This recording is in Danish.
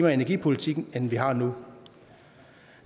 og energi politik end vi har nu